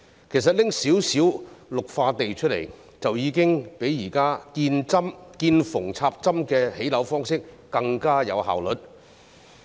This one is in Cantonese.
其實，只須撥出少許綠化土地，已經較現時見縫插針的建屋方式更有效率。